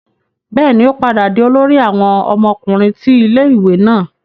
bẹẹni, o padà di olórí àwọn ọmọkùnrin ti ilé-ìwé náà